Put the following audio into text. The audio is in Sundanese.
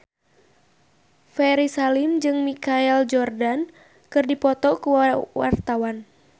Ferry Salim jeung Michael Jordan keur dipoto ku wartawan